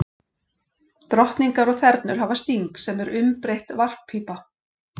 Drottningar og þernur hafa sting, sem er umbreytt varppípa.